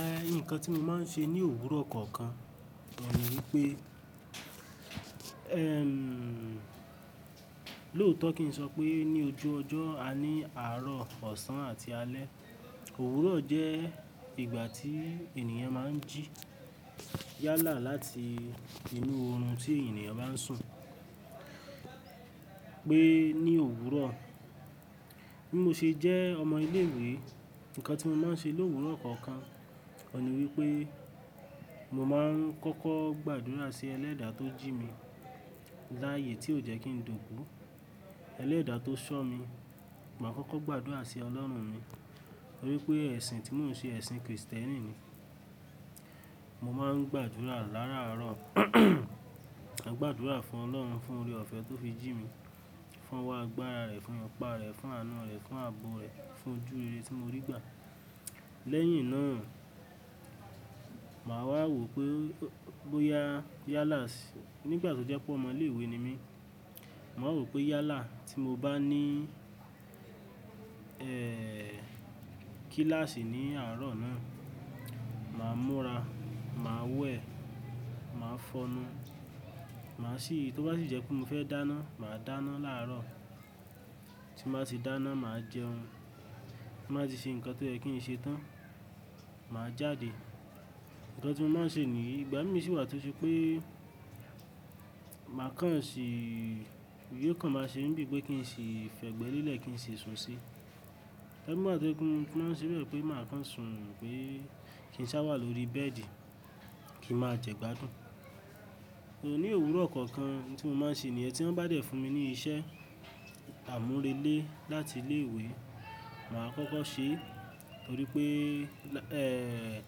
Eh, nǹkan tí mo máa ń ṣe ní òwúrọ̀ kọ̀ọ̀kan ni wípé, ẹm, lóòótọ́ kí n sọ pé ní ojú ọjọ́, a ní àárọ̀, ọ̀sán àti alẹ́. Òwúrọ̀ jẹ́ ìgbà tí ènìyàn máa ń jí yálà láti inú oorun tí ènìyàn bá ń sùn. Pé ní òwúrọ̀, bí mo ṣe jẹ́ ọmọ ilé ìwé, nǹkan tí mo máa ń ṣe lówúrọ̀ kọ̀ọ̀kan ni wípé mo máa ń kọ́kọ́ gbàdúrà sí ẹlẹ́dà tó jí mi láyé tí ò jẹ́ kí n dòkú. Elẹ́dà tó ṣọ́ mi, màá kọ́kọ́ gbàdúrà sí Ọlọ́run mi, torí pé ẹ̀sìn tí mò ń ṣe ẹ̀sìn kìrìsìtẹ́nì ni. Mo máa ń gbàdúrà láàárọ̀, a gbàdúrà fún Ọlọ́run, fún oore-ọ̀fẹ́ tó fi jí mi, fún ọwọ́ agbára rẹ̀, fún ipá rẹ̀, fún àánú rẹ̀, fún àbọ̀ rẹ̀, fún ojú rere tí mo rí gbà. Lẹ́yìn náà, màá wá wò pé bóyá yálà, nígbà tó jẹ́ pé ọmọ ilé ìwé ni mí, màá wò pé yálà tí mo bá ní, ẹẹ́ẹ̀, kíláàsì ní àárọ̀ náà, màá múra, màá wẹ̀, màá fọnu, màá sì, tó bá sì jẹ́ pé mo fẹ́ dáná, màá dáná láàárọ̀. Tí màá ti dáná, màá jẹun. Tí màá ti ṣe nǹkan tó jẹ́ kí n ṣe tán, màá jáde. Nǹkan tí mo máa ń ṣe ní yi, ìgbà mí sì wà tó ṣe pé màá kàn ṣì, yóò kàn máa ṣe mí bíi pé kí n ṣi fẹ̀gbẹ́ lélẹ̀ kí n ṣi sùn sí. Igba mi wà tó je pe mo tun, máa ṣèbe pé màá kàn sùn pé kí n sá wà lórí bẹ́ẹ̀dì kí n máa jẹ́ gbádùn. Ní òwúrọ̀ kọ̀ọ̀kan ohun tí mo máa ń ṣe ni yan tí wọ́n bá dẹ̀ fún mi ní iṣẹ́ àmúrelé láti ilé ìwé, màá kọ́kọ́ ṣe, torí pé, ẹẹ́ẹ́,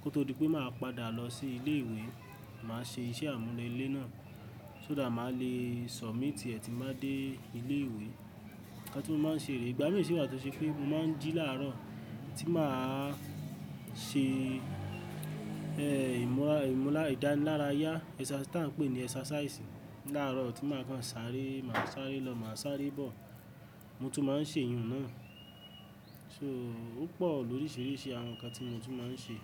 kó tó di pé màá padà lọ sí ilé ìwé, màá ṣe iṣẹ́ àmúrelé náà, so that màá le sọ̀míìtì ẹ́ tín baa dé ilé ìwé. Ǹkan tí mo máa ń ṣe rè, ìgbà mí sì wà tó ṣe pé mo máa ń jí láàárọ̀ tí màá ṣe, ẹẹ́, ìmúra, ìmúra, ìdánilárayá, ẹsa tí à ń pè ní ẹsàsáìsì láàárọ̀ tí màá kàn sáré, màá sáré lọ, màá sáré bọ̀. Mo tún máa ń ṣe iyùn náà. So ó pọ̀ lọ̀ríṣiríṣi àwọn nǹkan tí mo tún máa ń ṣe.